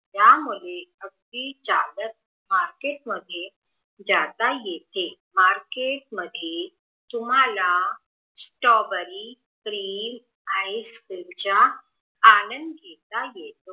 यामध्ये अगदी जवळ मार्केट मध्ये जात येते मार्केट मध्ये तुमाला स्टोबेरी प्रिल आईस्क्रिम चा आनंद घेता येतो